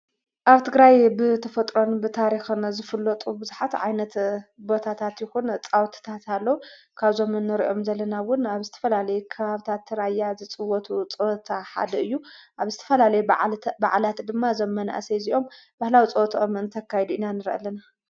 ኣብ ትግራይ ብተፈጥሮን ብታሪኽነ ዘፍሎጡ ብዙኃት ዓይነት ቦታታትኹን ጻውትታታሎ ካብ ዞምን ርእኦም ዘለናውን ኣብ ስተፈላለይ ኽሃብታ እተራያ ዝጽወቱ ጸወታ ሓደ እዩ ኣብ ስትፈላለይ ብዕላት ድማ ዘመን እሰይ ዚኦም በህላው ጸወተኦምእንተካይዱ ኢና ንርኢ ልና::